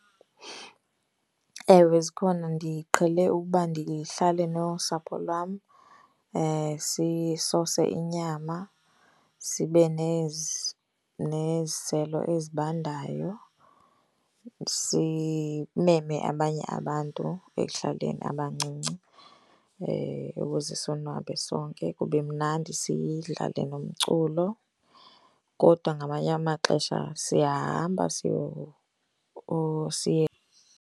Ewe, zikhona. Ndiqhele ukuba ndihlale nosapho lwam sisose inyama, sibe neziselo ezibandayo. Simeme abanye abantu ekuhlaleni abancinci ukuze sonwabe sonke, kube mnandi sidlale nomculo. Kodwa ngamanye amaxesha siyahamba or siye.